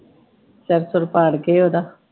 ਸਿਰ ਸੁਰ ਪਾੜਗੇ ਓਹਦਾ।